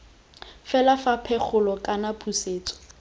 fela fa pegelo kana pusetso